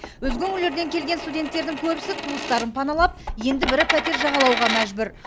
өзге өңірлерден келген студенттердің көбісі туыстарын паналап енді бірі пәтер жағалауға мәжбүр